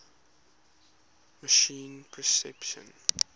machine perception